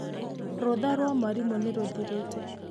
Rutha rwa mwarimũ nĩ rũthirĩte.